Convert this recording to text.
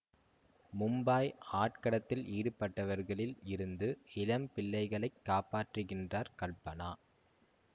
மும்பாய் ஆட்கடத்தில் ஈடுபட்டவர்களில் இருந்து இளம் பிள்ளைகளைக் காப்பாற்றுகின்றார் கல்பனா